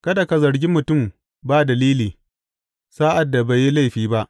Kada ka zargi mutum ba dalili, sa’ad da bai yi laifi ba.